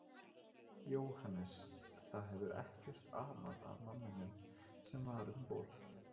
Jóhannes: Það hefur ekkert amað að manninum sem var um borð?